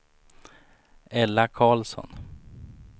Ella Karlsson